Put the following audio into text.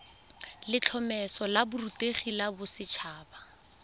letlhomeso la borutegi la boset